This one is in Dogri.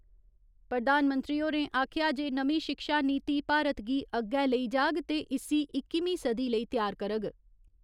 प्रधानमंत्री होरें आखेआ जे नमीं शिक्षा नीति भारत गी अग्गै लेई जाग ते इस्सी इक्कमीं सदी लेई त्यार करग।